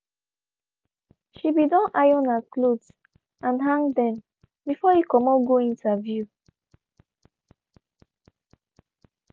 she be don iron her clothes and hung dem before e comot go interview.